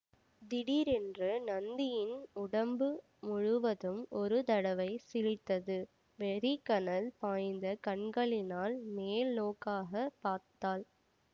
திடீரென்று நந்தியின் உடம்பு முழுவதும் ஒரு தடவை சிலிர்த்தது வெறிக்கனல் பாய்ந்த கண்களினால் மேல் நோக்காகப் பார்த்தாள்